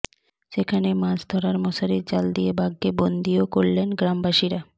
সেখানে মাছ ধরার মশারি জাল দিয়ে বাঘকে বন্দীও করলেন গ্রামবাসীরা